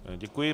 Děkuji.